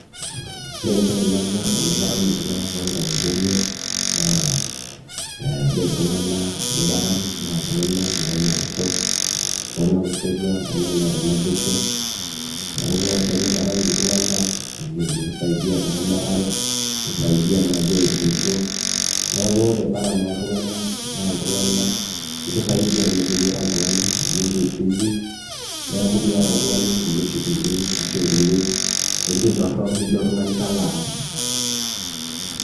ore entoki nanyorr tenaparan iltung'anak toonkang'itie enye naa ee ore iltung'anak liparan naa iltung'anak loonyorrisho iltung'anak losotua iltung'anak loota naboisho neeku teniparan iltung'anak nikisaidia teramatare nikisaidia naaji airemisho neeku ore paran oltunganak naa iltung'anak ekisaidia oleng iyie ira oltung'ani amu ekin keep busy neekumiata oltung'ani inkulie shughulini ashu inkulie tokitin torrok nijo oltung'ani kalo aas.